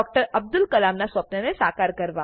અબ્દુલ કલામ ના સ્વપ્ન સાકાર કરવા